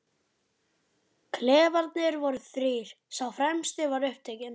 Klefarnir voru þrír, sá fremsti var upptekinn.